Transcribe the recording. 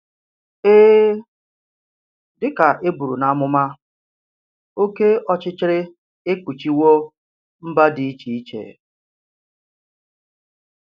Èè, dị ka e bùrù n’amụma, òké ọchịchịrị èkpùchìwò mba dị iche iche